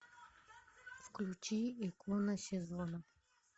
включи икона сезона